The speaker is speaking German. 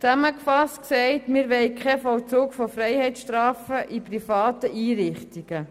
Zusammengefasst gesagt, wollen wir keinen Vollzug von Freiheitsstrafen in privaten Einrichtungen.